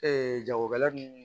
jagokɛla nunnu